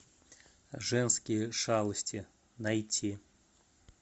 женские шалости найти